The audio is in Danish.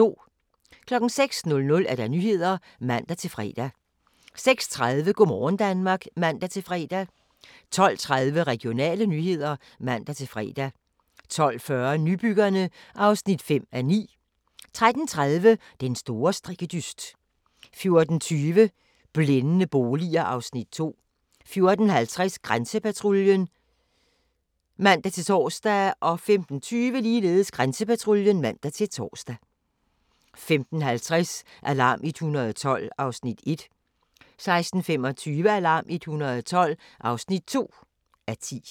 06:00: Nyhederne (man-fre) 06:30: Go' morgen Danmark (man-fre) 12:30: Regionale nyheder (man-fre) 12:40: Nybyggerne (5:9) 13:30: Den store strikkedyst 14:20: Blændende boliger (Afs. 2) 14:50: Grænsepatruljen (man-tor) 15:20: Grænsepatruljen (man-tor) 15:50: Alarm 112 (1:10) 16:25: Alarm 112 (2:10)